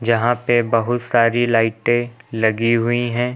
यहां पर बहुत सारी लाइटें लगी हुई है।